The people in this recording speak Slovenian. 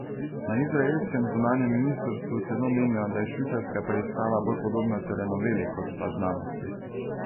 Na izraelskem zunanjem ministrstvu celo menijo, da je švicarska preiskava bolj podobna telenoveli kot pa znanosti.